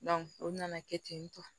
o nana kɛ ten tɔ